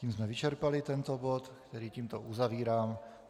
Tím jsme vyčerpali tento bod, který tímto uzavírám.